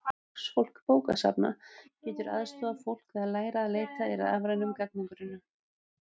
Starfsfólk bókasafna getur aðstoðað fólk við að læra að leita í rafrænum gagnagrunnum.